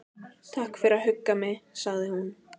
Takk fyrir að hugga mig- sagði hún.